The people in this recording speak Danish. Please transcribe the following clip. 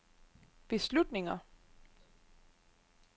beslutninger